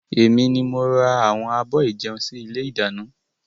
Èmi ni mo ra àwọn abọ́ ìjẹun sì ilé ìdáná.